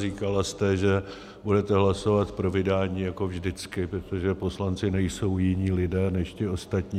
Říkala jste, že budete hlasovat pro vydání jako vždycky, protože poslanci nejsou jiní lidé než ti ostatní.